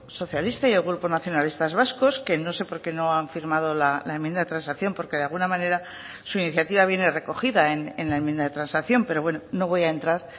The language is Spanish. socialista y el grupo nacionalistas vascos que no sé por qué no han firmado la enmienda de transacción porque de alguna manera su iniciativa viene recogida en la enmienda de transacción pero bueno no voy a entrar